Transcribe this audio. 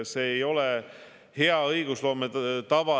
See ei ole hea õigusloome tava.